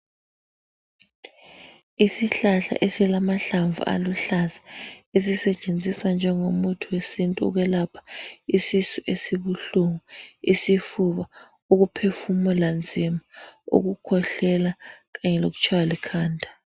Isihlahla esilamahlamvu aluhlaza esisetshenziswa njengomuthi wesintu ukwelapha isisu esibuhlungu, isifuba, ukuphefumula nzima, ukukhwehlela kanye lokutshaywa likhanda.